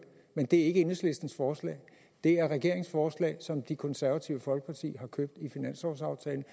men det er ikke enhedslistens forslag det er regeringens forslag som det konservative folkeparti har købt i finanslovsaftalen